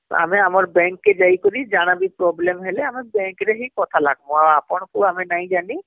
ଆମେ ଆମର bank କେ ଯାଇକରି ଯାହାବି problem ହେଲେ ଆମେ bank ରେ ହିଁ କଥା ଲାଗ ମୁଁଆଉ ଆପଣ ଙ୍କୁ ଆମେ ନାଇଁ ଯାନୀ